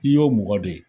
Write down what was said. I y'o mɔgɔ de ye